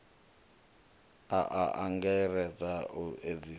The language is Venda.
a a angaredza u edzisea